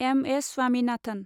M. S. Swaminathan